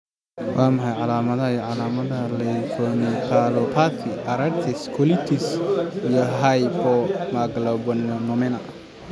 Waa maxay calaamadaha iyo calaamadaha leukoencephalopathy, arthritis, colitis, iyo hypogammaglobulinema?